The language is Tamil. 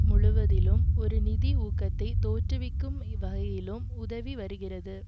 முழுவதிலும் ஒரு நிதி ஊகத்தை தோற்றுவிக்கும் வகையிலும் உதவி வருகிறது